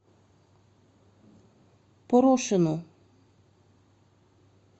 порошину